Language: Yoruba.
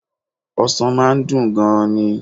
Ọsàn máa n dùn gan ni